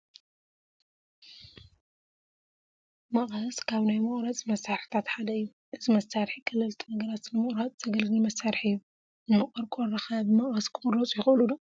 መቐስ ካብ ናይ መቑረፂ መሳርሕታት ሓደ እዩ፡፡ እዚ መሳርሒ ቀለልቲ ነገራት ንምቑራፅ ዘገልግል መሳርሒ እዩ፡፡ እኒ ቆርቆሮ ኸ ብመቐስ ክቑረፁ ይኽእሉ ዶ?